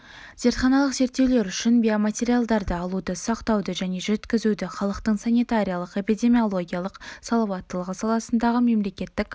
зертханалық зерттеулер үшін биоматериалдарды алуды сақтауды және жеткізуді халықтың санитариялық-эпидемиологиялық салауаттылығы саласындағы мемлекеттік